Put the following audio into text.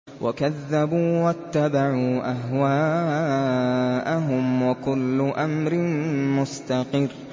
وَكَذَّبُوا وَاتَّبَعُوا أَهْوَاءَهُمْ ۚ وَكُلُّ أَمْرٍ مُّسْتَقِرٌّ